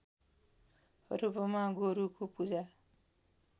रूपमा गोरुको पूजा